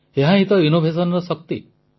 ଏହାହିଁ ତ ନବୋନ୍ମେଷର ଶକ୍ତି